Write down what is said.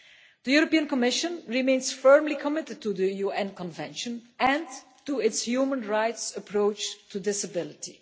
The European Commission remains firmly committed to the UN Convention and to its human rights approach to disability.